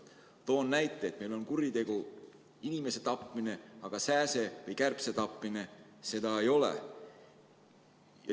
Toon näite: meil on kuritegu inimese tapmine, aga sääse või kärbse tapmine ei ole.